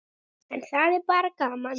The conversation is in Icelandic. En það er bara gaman.